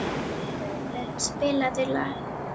Guðvin, spilaðu lag.